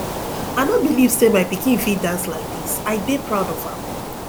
i no believe say my pikin fit dance like dis i dey proud of am